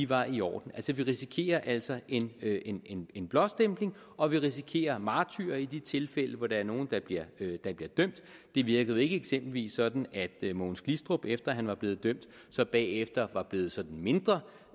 var i orden vi risikerer altså en en blåstempling og vi risikerer martyrer i de tilfælde hvor der er nogle der bliver dømt det virkede jo ikke eksempelvis sådan at mogens glistrup efter at han var blevet dømt så bagefter var blevet mindre